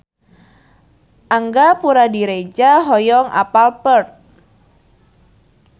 Angga Puradiredja hoyong apal Perth